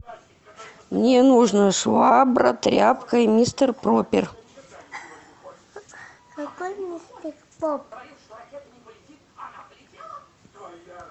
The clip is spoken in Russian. мне нужно швабра тряпка и мистер пропер